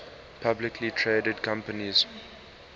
publicly traded companies